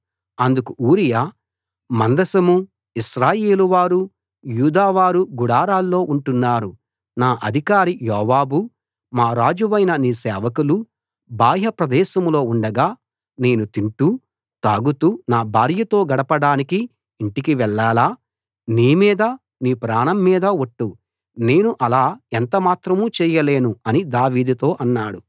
అందుకు ఊరియా మందసమూ ఇశ్రాయేలువారూ యూదావారూ గుడారాల్లో ఉంటున్నారు నా అధికారి యోవాబూ మా రాజువైన నీ సేవకులూ బాహ్య ప్రదేశంలో ఉండగా నేను తింటూ తాగుతూ నా భార్యతో గడపడానికి ఇంటికి వెళ్ళాలా నీ మీద నీ ప్రాణం మీద ఒట్టు నేను అలా ఎంత మాత్రం చేయలేను అని దావీదుతో అన్నాడు